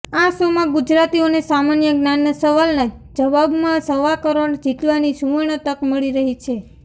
આ શોમાં ગુજરાતીઓને સામાન્ય જ્ઞાનના સવાલના જવાબમાં સવા કરોડ જીતવાની સુવર્ણ તક મળી રહી છે